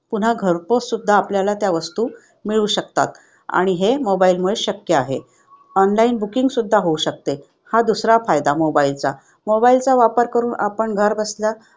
पुन्हा घरपोच सुद्धा आपल्याला त्या वस्तू मिळू शकतात आणि हे mobile वर शक्य आहे. ऑनलाईन बुकिंग सुद्धा होऊ शकते हा दुसरा फायदा mobile चा. mobile चा वापर करून आपण घर बसल्या